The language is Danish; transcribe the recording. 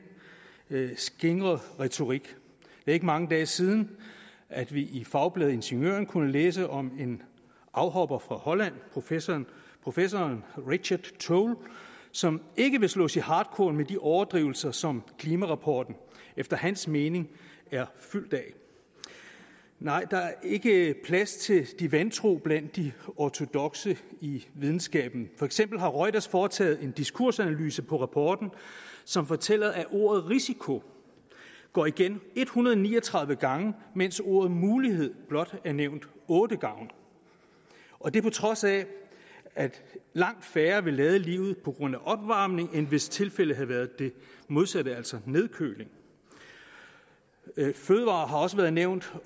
skingre retorik det ikke mange dage siden at vi i fagbladet ingeniøren kunne læse om en afhopper fra holland professoren professoren richard tol som ikke vil slås i hartkorn med de overdrivelser som klimarapporten efter hans mening er fyldt af nej der er ikke plads til de vantro blandt de ortodokse i videnskaben for eksempel har reuters foretaget en diskursanalyse på rapporten som fortæller at ordet risiko går igen en hundrede og ni og tredive gange mens ordet mulighed blot nævnes otte gange og det på trods af at langt færre vil lade livet på grund af opvarmning end hvis tilfældet havde været det modsatte altså nedkøling fødevarer har også været nævnt